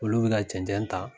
Olu bi ka cɛncɛn ta